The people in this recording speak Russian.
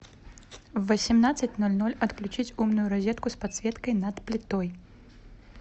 в восемнадцать ноль ноль отключить умную розетку с подсветкой над плитой